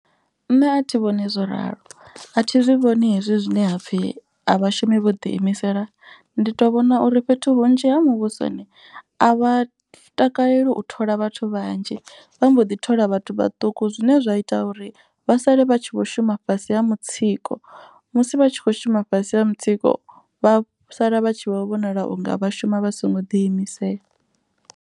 Nṋe a thi vhoni zwo ralo a thi zwi vhoni hezwi zwine hapfhi a vhashumi vho ḓi imisela. Ndi to vhona uri fhethu hunzhi ha muvhusoni a vha takaleli u thola vhathu vhanzhi. Vha mbo ḓi thola vhathu vhaṱuku zwine zwa ita uri vha sale vha tshi vho shuma fhasi ha mutsiko. Musi vha tshi kho shuma fhasi ha mutsiko vha sala vha tshi vho vhonala unga vha shuma vha songo ḓi imisela.